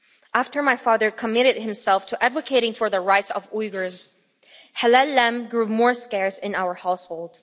After my father committed himself to advocating for the rights of Uyghurs, halal lamb grew more scarce in our household.